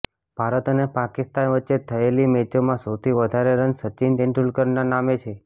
ભારત અને પાકિસ્તાન વચ્ચે થયેલી મેચોમાં સૌથી વધારે રન સચિન તેંડુલકરનાં નામે છે